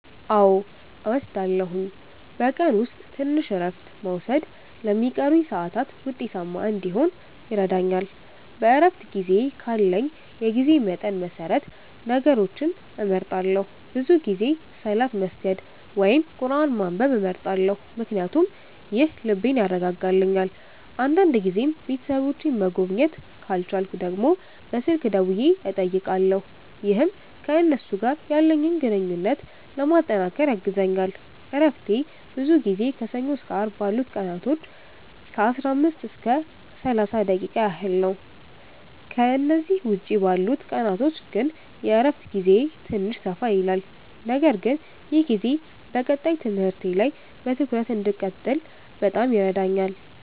አዎ እወስዳለሁኝ፤ በቀን ውስጥ ትንሽ እረፍት መውሰድ ለሚቀሩኝ ሰዓታት ውጤታማ እንዲሆን ይረዳኛል። በእረፍት ጊዜዬ ካለኝ የጊዜ መጠን መሰረት ነገሮችን እመርጣለሁ፤ ብዙ ጊዜ ሰላት መስገድ ወይም ቁርአን ማንበብ እመርጣለሁ ምክንያቱም ይህ ልቤን ያረጋጋልኛል። አንዳንድ ጊዜም ቤተሰቦቼን መጎብኘት ካልቻልኩ ደግሞ በስልክ ደውዬ እጠይቃለሁ፣ ይህም ከእነሱ ጋር ያለኝን ግንኙነት ለማጠናከር ያግዘኛል። እረፍቴ ብዙ ጊዜ ከሰኞ እስከ አርብ ባሉት ቀናቶች ከ15 እስከ 30 ደቂቃ ያህል ነው፤ ከእነዚህ ውጭ ባሉት ቀናቶች ግን የእረፍት ጊዜዬ ትንሽ ሰፋ ይላል። ነገር ግን ይህ ጊዜ በቀጣይ ትምህርቴ ላይ በትኩረት እንድቀጥል በጣም ይረዳኛል።